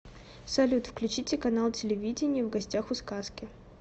салют включите канал телевидения в гостях у сказки